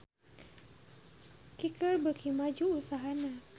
Kicker beuki maju usahana